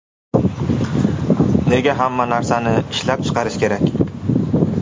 Nega hamma narsani ishlab chiqarish kerak?